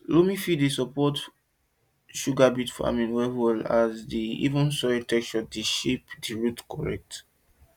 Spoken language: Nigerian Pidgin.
loamy fields dey support sugar beet farming well well as di even soil texture dey help shape di root correct